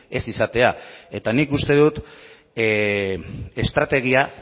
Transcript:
ez izatea eta nik uste dut estrategia